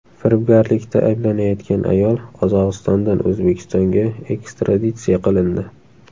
Firibgarlikda ayblanayotgan ayol Qozog‘istondan O‘zbekistonga ekstraditsiya qilindi.